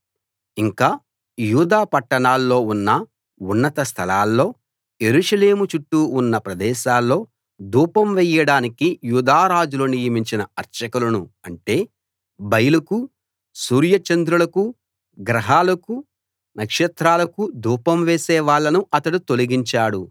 ఇంకా యూదా పట్టణాల్లో ఉన్న ఉన్నత స్థలాల్లో యెరూషలేము చుట్టూ ఉన్న ప్రదేశాల్లో ధూపం వెయ్యడానికి యూదా రాజులు నియమించిన అర్చకులను అంటే బయలుకు సూర్యచంద్రులకు గ్రహాలకు నక్షత్రాలకు ధూపం వేసే వాళ్ళను అతడు తొలగించాడు